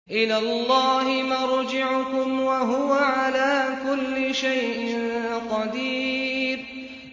إِلَى اللَّهِ مَرْجِعُكُمْ ۖ وَهُوَ عَلَىٰ كُلِّ شَيْءٍ قَدِيرٌ